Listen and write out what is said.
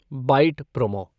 bite promo